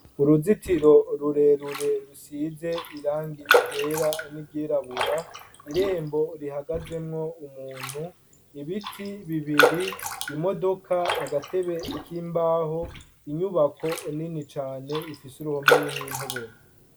Uruzitiro rurerure rusize irangi ryera ni ryirabura irembo rihagazemwo umuntu, ibiti bibiri, imodoka, agatebe kimbaho, inyubako nini cane ifise uruhome rurimw’intoboro.